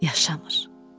Yaşamır.